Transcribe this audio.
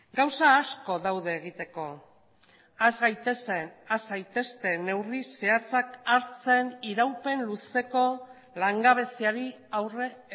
gauza asko daude egiteko has gaitezen has zaitezte neurri zehatzak hartzen iraupen luzeko langabeziari aurre